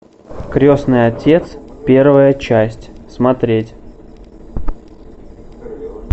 крестный отец первая часть смотреть